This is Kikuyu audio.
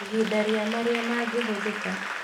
Ihinda rĩa marĩa mangĩhũthĩka